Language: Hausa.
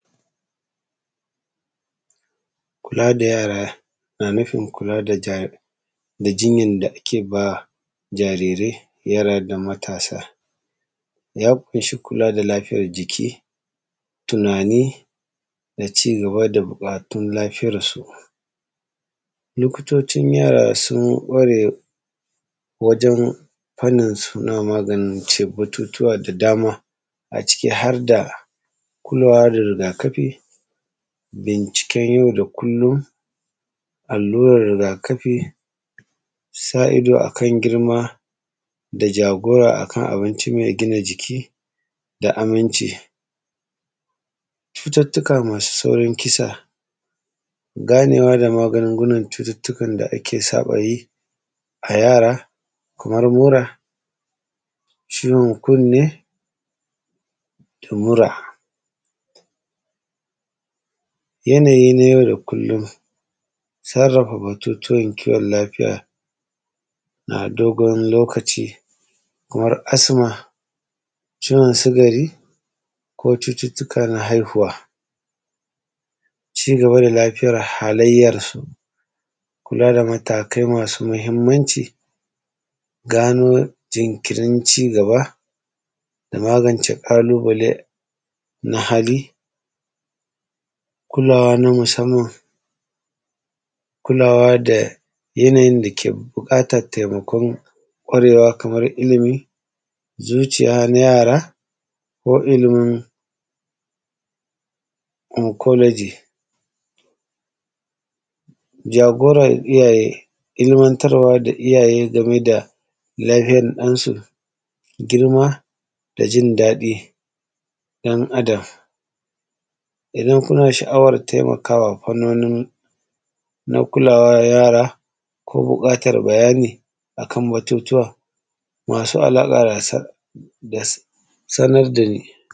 Kula da yara na nufin kula da jinyan da ake ba jarirai, yara da matasa ya kunshi kula da lafiyar jiki, tunani da cigaba da buƙatun lafiyarsu. Likitocin yara sun kware na maganin batutuwa da dama a ciki harda kulawa da rigakafi bincikem yau dakullum, alluran rigakafi, sa’ido akan girma da jagora akan abinci mai gina jiki da aminnci. Cututuka masu saurin kisa ganewa da maganin cututtukan da ake sabawa dayi a yara kamar mura, ciwon kunni da mura. Yanayi nay au da kullum sarrafa batutuwan kiwon lafiya, a dogon lokaci kamar asima, ciwon sikari da kuma cututtukan haihuwa. CIgaba da lafiyar halayyar kula da matakai masu mahimmanci gano jinkirin cigada da magnace ƙalubale na hali, kulawa na musamman. Kulawa da yanayin dake buƙatan taimako Kaman ilimi, zuciya na yara ko ilimin inkologi. Jagorar iyyaye ilmantar da iyyaye gameda lafiyan iyylansu girma dajin daɗin ɗan Adam. Idan kuna sha’awar taimakawa na kulawa yara ko buƙatar bayani akan batutuwa masu alaƙa ya sanar dani.